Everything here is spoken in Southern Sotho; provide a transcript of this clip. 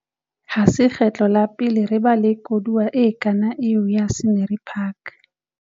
Ha se kgetlo la pele re ba le koduwa e kang eo ya Scenery Park.